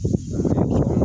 Sanunɛ